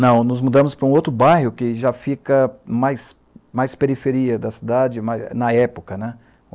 Não, nos mudamos para um outro bairro que já fica mais, mais, periferia da cidade, na época, né?